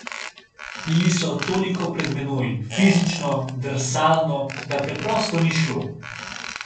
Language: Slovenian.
Bili so toliko pred menoj, fizično, drsalno, da preprosto ni šlo.